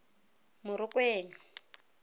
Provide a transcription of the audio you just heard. morokweng